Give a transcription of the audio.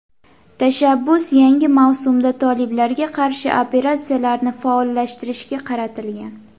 Tashabbus yangi mavsumda toliblarga qarshi operatsiyalarni faollashtirishga qaratilgan.